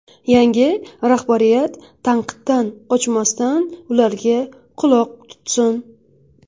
Yangi rahbariyat tanqiddan qochmasdan, ularga quloq tutsin!